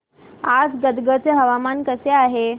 आज गदग चे हवामान कसे आहे